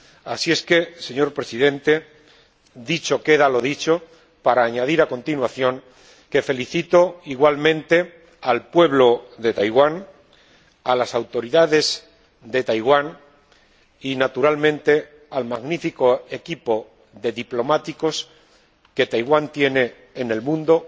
Así es que, señor Presidente, dicho queda lo dicho, para añadir, a continuación, que felicito igualmente al pueblo de Taiwán, a las autoridades de Taiwán y, naturalmente, al magnífico equipo de diplomáticos que Taiwán tiene en el mundo,